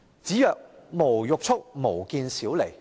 子曰："無欲速，無見小利。